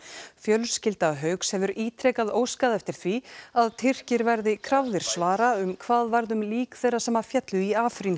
fjölskylda Hauks hefur ítrekað óskað eftir því að Tyrkir verði krafðir svara um það hvað varð um lík þeirra sem féllu í